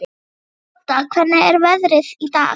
Odda, hvernig er veðrið í dag?